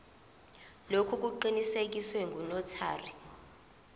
lokhu kuqinisekiswe ngunotary